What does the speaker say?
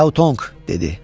Fyautong, dedi.